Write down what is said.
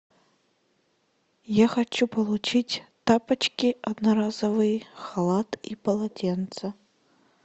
я хочу получить тапочки одноразовые халат и полотенце